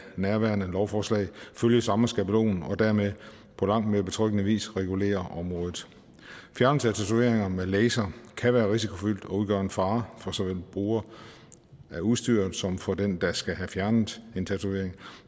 nærværende lovforslag følge samme skabelon og dermed på langt mere betryggende vis regulere området fjernelse af tatoveringer med laser kan være risikofyldt og udgøre en fare for såvel brugere af udstyret som for dem der skal have fjernet en tatovering